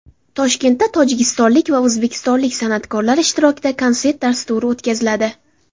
Toshkentda tojikistonlik va o‘zbekistonlik san’atkorlar ishtirokida konsert dasturi o‘tkaziladi.